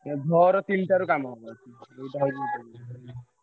ଭୋର ତିନ ଟାରୁ କାମ ହବ ।